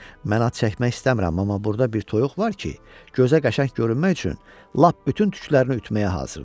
Mən ad çəkmək istəmirəm, amma burda bir toyuq var ki, gözə qəşəng görünmək üçün lap bütün tüklərini ütməyə hazırdır.